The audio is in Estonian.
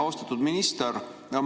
Austatud minister!